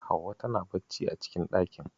Hauwa tana bacci a cikin ɗakin.